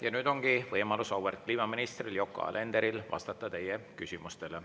Ja nüüd ongi võimalus auväärt kliimaministril Yoko Alenderil vastata teie küsimustele.